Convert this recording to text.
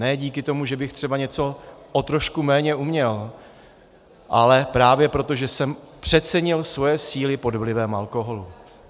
Ne díky tomu, že bych třeba něco o trošku méně uměl, ale právě proto, že jsem přecenil svoje síly pod vlivem alkoholu.